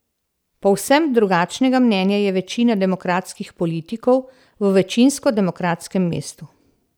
Povsem drugačnega mnenja je večina demokratskih politikov v večinsko demokratskem mestu.